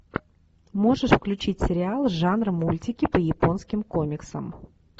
можешь включить сериал жанра мультики по японским комиксам